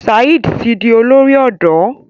Saheed tí dì olórí odò.